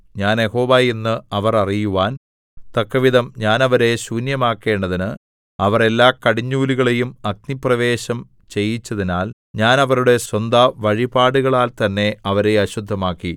ഞാൻ യഹോവ എന്ന് അവർ അറിയുവാൻ തക്കവിധം ഞാൻ അവരെ ശൂന്യമാക്കേണ്ടതിന് അവർ എല്ലാകടിഞ്ഞൂലുകളെയും അഗ്നിപ്രവേശം ചെയ്യിച്ചതിനാൽ ഞാൻ അവരുടെ സ്വന്തവഴിപാടുകളാൽത്തന്നെ അവരെ അശുദ്ധമാക്കി